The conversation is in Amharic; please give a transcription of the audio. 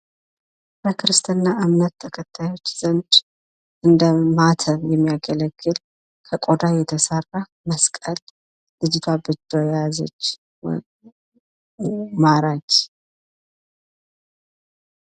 በክርስትና እምነት ተከታዮች ዘንድ እንደ ማተብ የሚያገለግል ከቆዳ የተሰራ መስቀል ልጅቷ በእጇ የያዘችው ማራኪ።